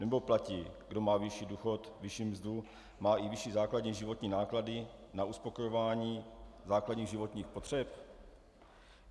Nebo platí: kdo má vyšší důchod, vyšší mzdu, má i vyšší základní životní náklady na uspokojování základních životních potřeb?